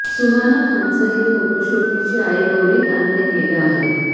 सुहाना खानचं हे फोटोशूट तिची आई गौरी खानने केलं आहे